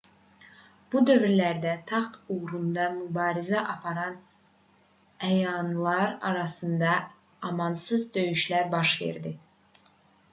bu dövrlərdə taxt uğrunda mübarizə aparan əyanlar arasında amansız döyüşlər baş verdi